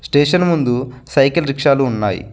Station ముందు cycle రిక్షాలు ఉన్నాయి.